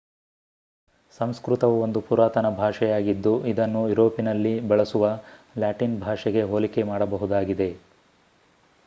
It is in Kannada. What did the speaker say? ಸಂಸ್ಕೃತವು ಒಂದು ಪುರಾತನ ಭಾಷೆಯಾಗಿದ್ದು ಇದನ್ನು ಯುರೋಪಿನಲ್ಲಿ ಬಳಸುವ ಲ್ಯಾಟಿನ್ ಭಾಷೆಗೆ ಹೋಲಿಕೆ ಮಾಡಬಹುದಾಗಿದೆ